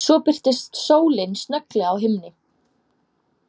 Svo birtist sólin snögglega á himni.